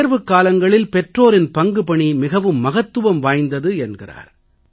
தேர்வுக்காலங்களில் பெற்றோரின் பங்குபணி மிகவும் மகத்துவம் வாய்ந்தது என்கிறார்